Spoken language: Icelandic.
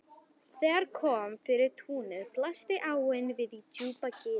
Þegar kom yfir túnið blasti áin við í djúpu gili.